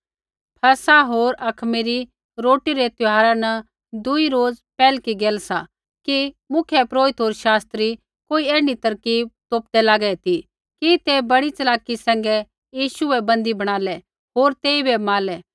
फसह होर अखमीरी रोटी रै त्यौहारा न दूई रोज़ पैहलकी गैल सा कि मुख्यपुरोहिता होर शास्त्री कोई ऐण्ढी तरकीब तोपदै लागै ती कि ते बड़ी च़लाकी सैंघै यीशु बै बन्दी बणालै होर तेइबै मारलै